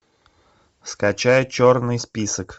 скачай черный список